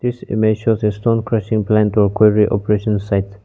this image shows a stone crushing plant or quarry operation site.